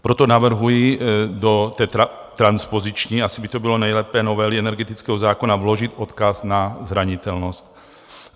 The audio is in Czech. Proto navrhuji do té transpoziční - asi by to bylo nejlépe - novely energetického zákona vložit odkaz na zranitelnost.